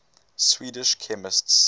swedish chemists